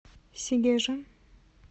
сегежа